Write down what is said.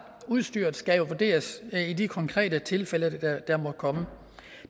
at udstyret skal vurderes i de konkrete tilfælde der måtte komme